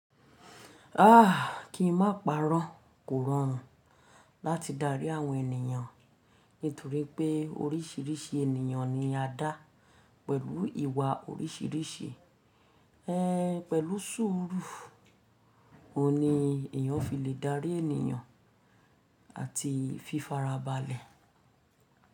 Aah! Kí i má parọ́ kò rọrùn láti darí àwọn ènìyàn, nítorí pé orísìírísìí ènìyàn ni a dá pẹ̀lú ìwà orísìírísìí. Ehn, pẹ̀lú sùúrù, òun ni èèyàn fi lè darí ènìyàn àti fífara balẹ̀.